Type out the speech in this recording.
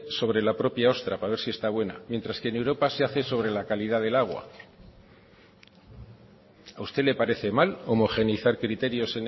sobre la propia ostra para ver si esta buena mientras que en europa se hace sobre la calidad del agua a usted le parece mal homogeneizar criterios